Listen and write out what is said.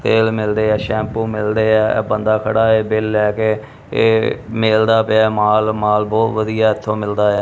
ਤੇਲ ਮਿਲਦੇ ਹੈ ਸੈਂਪੂ ਮਿਲਦੇ ਹੈ ਇਹ ਬੰਦਾ ਖੜਾ ਹੈ ਬਿੱਲ ਲਏ ਕੇ ਇਹ ਮਿਲਦਾ ਪਿਆ ਹੈ ਮਾਲ ਮਾਲ ਬਹੁਤ ਵਧੀਆ ਇੱਥੋਂ ਮਿਲਦਾ ਹੈ।